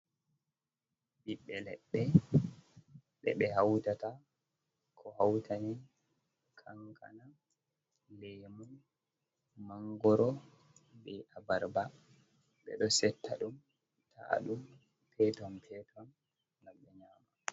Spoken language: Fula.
Ɓibbe leɗɗe ɓe ɓe hautata ko hautani kankana, lemu, mangoro, ɓe abarba, ɓe ɗo setta ɗum taa ɗum peton peton ngam ɓe nyama.